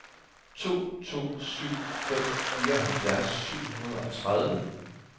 to to syv fem fireoghalvfjerds syv hundrede og tredive